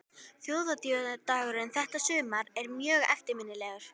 Þjóðhátíðardagurinn þetta sumar er mjög eftirminnilegur.